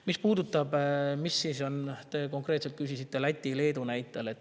Te küsisite konkreetselt Läti ja Leedu näite kohta.